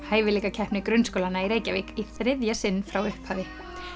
hæfileikakeppni grunnskólanna í Reykjavík í þriðja sinn frá upphafi